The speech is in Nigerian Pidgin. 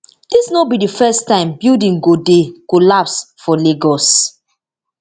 dis no be di first time building go dey collapse for lagos